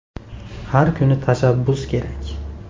Har kuni tashabbus kerak.